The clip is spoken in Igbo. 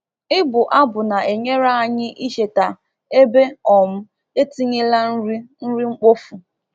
Ịbụ abụ na-enyere anyị icheta ebe um etinyela nri nri mkpofu.